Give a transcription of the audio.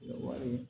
Wari